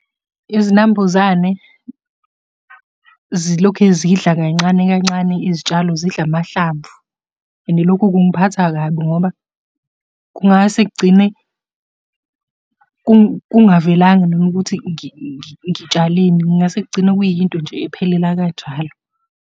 Izinambuzane zilokhe zidla kancane kancane izitshalo zidla amahlamvu, and lokhu kungiphatha kabi ngoba kungase kugcine kungavelanga mina ukuthi ngitshaleni, kungase kugcine kuyinto nje ephelela kanjalo.